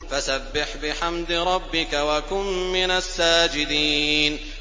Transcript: فَسَبِّحْ بِحَمْدِ رَبِّكَ وَكُن مِّنَ السَّاجِدِينَ